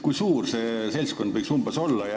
Kui suur see seltskond võiks olla?